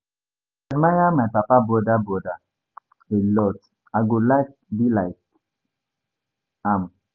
I dey admire my papa broda broda a lot. I go like be like am.